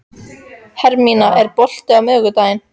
Hermína, er bolti á miðvikudaginn?